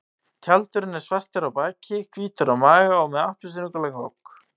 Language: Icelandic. Tjaldurinn er svartur á baki, hvítur á maga og með appelsínugulan gogg.